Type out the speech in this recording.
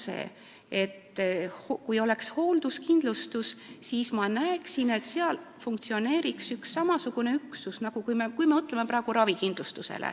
Kui meil oleks hoolduskindlustus, siis minu arvates peaks funktsioneerima üks samasugune üksus nagu see, mida me näeme praegu ravikindlustuses.